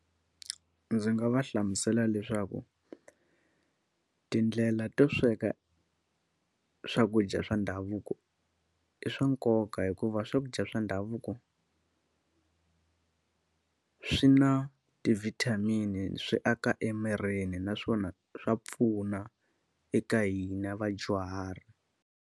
Ndzi nga va hlamusela leswaku, tindlela to sweka swakudya swa ndhavuko i swa nkoka hikuva swakudya swa ndhavuko swi na ti-vitamin-i, swi aka emirini naswona swa pfuna eka hina vadyuhari.